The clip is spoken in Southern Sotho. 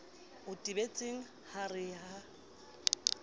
o tebetseng a re ha